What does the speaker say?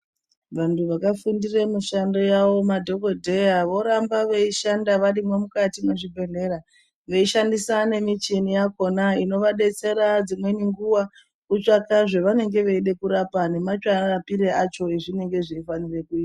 Vantu vakafundire mushando yawo madhokodheya vorambe veishanda varimwo muzvibhedhlera veishandisa nemichini yakona inoshandiswe dzimweni nguwa kutsvaka zvavanenge veide kurapa nemarapire acho azvinenge zveifanirwe kuitwa .